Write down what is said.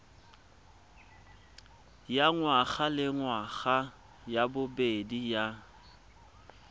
ya ngwagalengwaga ya bobedi ya